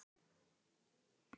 Sindri: Ertu búinn að selja?